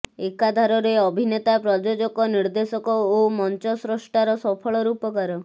ଏକାଧାରରେ ଅଭିନେତା ପ୍ରଯୋଜକ ନିର୍ଦ୍ଦେଶକ ଓ ମଞ୍ଚସ୍ରଷ୍ଟାର ସଫଳ ରୂପକାର